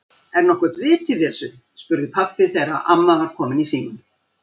Er nokkurt vit í þessu? spurði pabbi þegar amma var komin í símann.